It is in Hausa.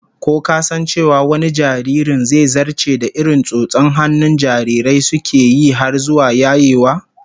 Ko ka san cewa wani jaririn, zai zarce da irin tsotson hannun jarirai suke yi har zuwa yayewa?